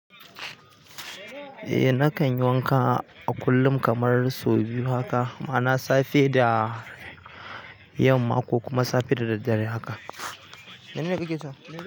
Eh nakan yi wanka a kullum kamar sau biyu haka ma'ana safe da yamma ko kuma safe da daddare haka.